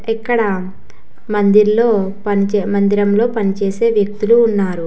ఇక్కడ మందిర్లో మందిరంలో పనిచేసే వ్యక్తులు ఉన్నారు.